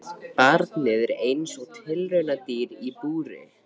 Barnið er eins og tilraunadýr í búri.